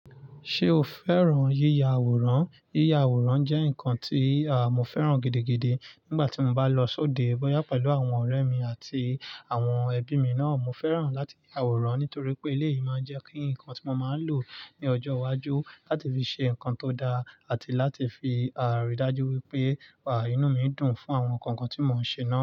Ṣé o fẹ́ràn yíya àwòrán? Yíya àwòrán jẹ́ nǹkan tí mo fẹ́ràn gidi, gidi nígbà tí mo bá lọ sóde bóyá pẹ̀lú àwọn ọ̀rẹ́ mi àti àwọn ẹbí mi náà. Mo fẹ́ràn láti ya àwòrán nítorí pé ilé yìí máa ń jẹ́ kí nǹkan tí mo máa lò ní ọjọ́ iwájú láti fi ṣe nǹkan tó dára àti láti fi ríi dájú wípé inú mi dùn fún àwọn nǹkan tí mo ń ṣe náà.